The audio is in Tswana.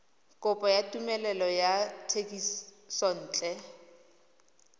kopo ya tumelelo ya thekisontle